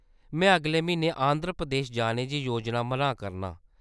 मैं अगले म्हीने आंध्र प्रदेश जाने दी योजना बनाऽ करना।